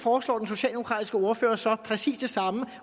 foreslår den socialdemokratiske ordfører så præcis det samme